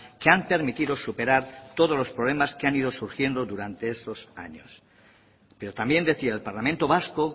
que han permitido superar todos los problemas que han ido surgiendo durante esos años pero también decía el parlamento vasco